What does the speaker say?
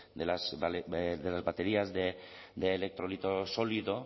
de las baterías de electrolito sólido